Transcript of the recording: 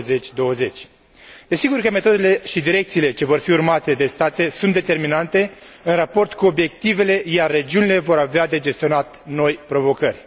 2020. Desigur că metodele și direcțiile ce vor fi urmate de state sunt determinante în raport cu obiectivele, iar regiunile vor avea de gestionat noi provocări.